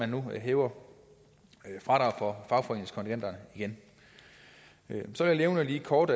nu at hæve fradraget for fagforeningskontingenterne igen så vil jeg lige kort